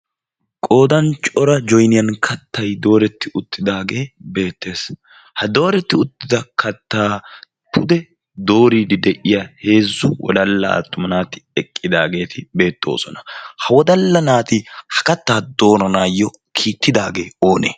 qodan cora joyniyan kattay dooretti uttidaagee beettees. ha dooretti uttida kattaa pude dooriidi de'iya heezzu wodalla aattuma naati eqqidaageeti beettoosona. ha wodalla naati ha kattaa dooranaayyo kiittidaagee oonee